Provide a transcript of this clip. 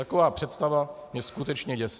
Taková představa mě skutečně děsí.